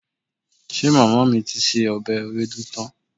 Ṣe màmá mi ti se ọbẹ̀ ewédú tán?